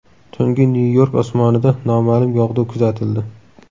Tungi Nyu-York osmonida noma’lum yog‘du kuzatildi.